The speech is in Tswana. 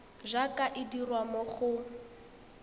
jaaka e dirwa mo go